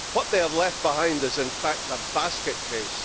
What they have left behind is in fact a basket case.